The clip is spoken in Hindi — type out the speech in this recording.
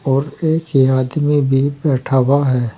और एक ये आदमी भी बैठा हुआ है।